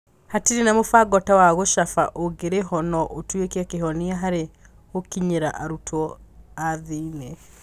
Hatirĩ na mũbango ta wa gũcaba ũngĩrĩho no ũtuĩke kihonia harĩ gũkinyĩra arutwo athĩn.